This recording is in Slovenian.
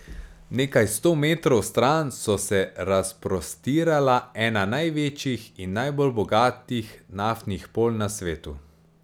Nekaj sto metrov stran so se razprostirala ena največjih in najbolj bogatih naftnih polj na svetu.